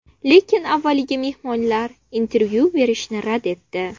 Lekin avvaliga mehmonlar intervyu berishni rad etdi.